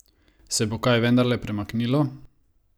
Se bo kaj vendarle premaknilo?